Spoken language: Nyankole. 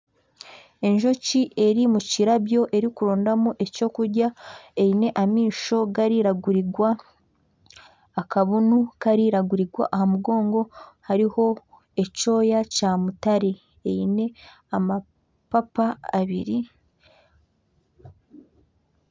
Enjoki eri omu kirabyo erikurondamu ekyokurya. Ayine amaisho gaariragurira, akabunu kariragurira amugongo hariho ekyoya kyamutare, eine amapapa abiri.